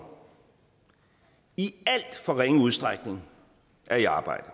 i alt for ringe udstrækning er i arbejde